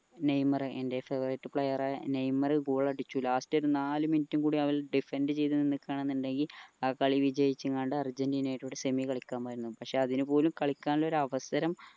Neymar എന്റെ favourite player Neymar goal അടിച്ചു last നാല് minute കൂടെ അവര് defend ചെയ്ത് നിക്കാണിന്നിണ്ടെങ്കി ആ കളി വിജയിച്ചിങ്ങാട് അര്ജന്റീന ആയിട്ടൂടെ semi കളിക്കാമായിരുന്നു പക്ഷെ അതിന് പോലും കളിക്കാൻ ഒരു അവസരം